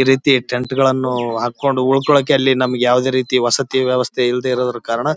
ಈ ರೀತಿ ಟೆಂಟ್ ಗಳನ್ನೂ ಹಾಕ್ಕೊಂಡು ಉಳ್ಕೊಳಕ್ಕೆ ನಮಗೆ ಯಾವುದೇ ರೀತಿ ವಸತಿ ವ್ಯವಸ್ಥೆ ಇಲ್ದಿರೋ ಕಾರಣ --